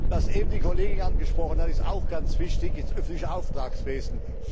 Was eben die Kollegin angesprochen hat, ist auch ganz wichtig das öffentliche Auftragswesen.